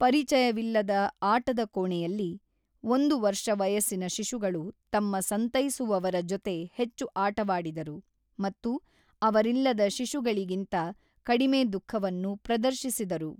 ಪರಿಚಯವಿಲ್ಲದ ಆಟದ ಕೋಣೆಯಲ್ಲಿ, ಒಂದು ವರ್ಷ ವಯಸ್ಸಿನ ಶಿಶುಗಳು ತಮ್ಮ ಸಂತೈಸುವವರ ಜೊತೆ ಹೆಚ್ಚು ಆಟವಾಡಿದರು ಮತ್ತು ಅವರಿಲ್ಲದ ಶಿಶುಗಳಿಗಿಂತ ಕಡಿಮೆ ದುಃಖವನ್ನು ಪ್ರದರ್ಶಿಸಿದರು.